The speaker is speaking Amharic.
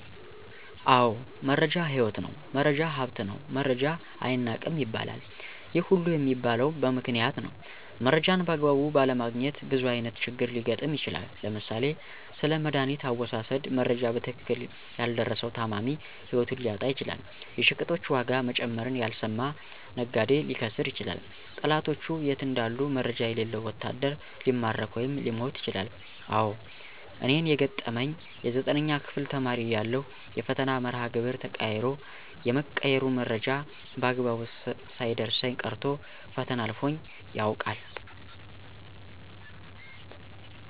አዎ! መረጃ ህይወት ነው፣ መረጃ ሀብት ነው መረጃ አይናቅም ይባለል። ይህ ሁሉ የሚባለ በምክንያት ነው። መረጃን በአግባቡ ባለማግኘት ብዙ አይነት ችግር ሊገጥም ይችላል። ለምሳሌ፦ ስለመዳኒት አወሳሠድ መረጃ በትክክል ያልደረሠው ታማሚ ህይወቱን ሊያጣ ይችላል። የሸቀጦች ዋጋ መጨመርን ያልሰማ ነጋዴ ሊከስር ይችላል። ጠላቶቹ የት እንዳሉ መረጃ የሌለው ወታደር ሊማረክ ወይም ሊሞት ይችላል። አዎ! እኔን የገጠመኝ የ9ኛ ክፍል ተማሪ እያለሁ የፈተና መርሃ ግብር ተቀይሮ የመቀየሩ መረጃ በአግባቡ ሳይደርሠኝ ቀርቶ ፈተና አልፎኝ ያውቃል።